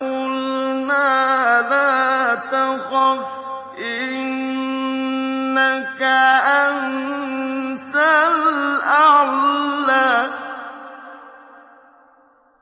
قُلْنَا لَا تَخَفْ إِنَّكَ أَنتَ الْأَعْلَىٰ